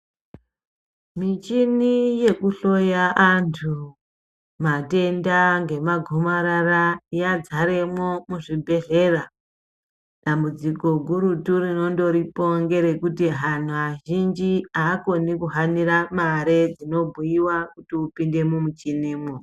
Michini yekuhloya andu matenda ngemagumarara, yadzaremwo muzvibhedhlera, dambudziko gurutu ringoripo nderekuti anhu azhinji haakoni kuhanira mare dzinobhuiwa kuti upinde mumuchinimwo.